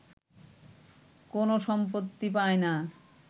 কোন সম্পত্তি পায়না